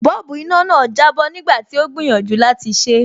Bọ́ọ̀bù iná náà jábọ́ nígbà tí ó gbìyànjú láti ṣé.